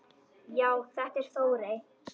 Já, þetta er Þórey.